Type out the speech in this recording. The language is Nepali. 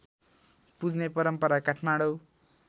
पुज्ने परम्परा काठमाडौँ